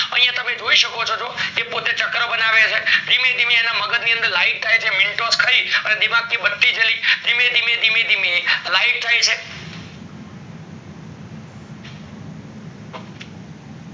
યા તમે જોય ચકો છો જો એ પોતે ચકલ્રા બનાવે છે ધીમે ધીમે અન મગજ ની અંદર light થાય છે મેન્તોસ ખય ચ દિમાગ કી બત્તી જલી ધીમે ધીમે ધીમે light થાય છે